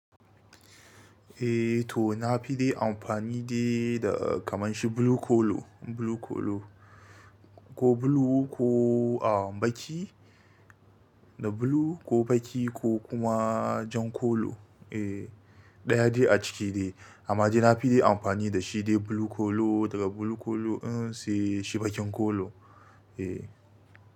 Eh to na fi dai amfani dai da kamar shi blue kolo, blue kolo ko blue ko am ɓaki, da blue ko ɓaki ko kuma jan kolo. Eh ɗaya dai a ciki dai. Amma dai na fi dai amfani da shi dai blue kolo daga blue kolo in si shi baƙin kolo. Eh.